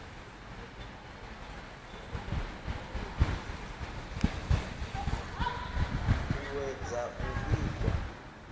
u ṱu ṱuwedza u vhigwa